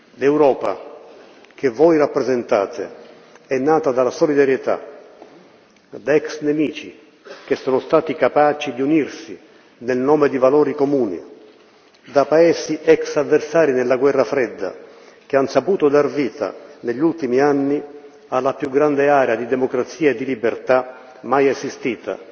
L'Europa che voi rappresentate è nata dalla solidarietà, da ex nemici che sono stati capaci di unirsi nel nome di valori comuni, da paesi ex avversari nella Guerra fredda che han saputo dar vita, negli ultimi anni, alla più grande area di democrazia e di libertà mai esistita,